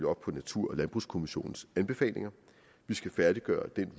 op på natur og landbrugskommissionens anbefalinger vi skal færdiggøre den